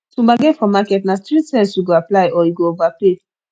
to bargain for market na street sense yu go apply or yu go overpay